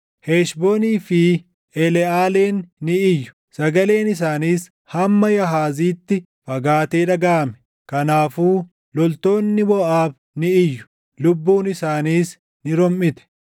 Heshboonii fi Eleʼaaleen ni iyyu; sagaleen isaaniis hamma Yaahaziitti fagaatee dhagaʼame. Kanaafuu loltoonni Moʼaab ni iyyu; lubbuun isaaniis ni romʼite.